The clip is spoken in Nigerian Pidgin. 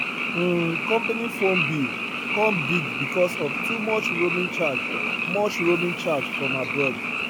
um company phone bill come big because of too much roaming charge much roaming charge from abroad